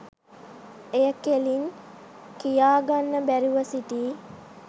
එය කෙලින් කියාගන්න බැරුව සිටි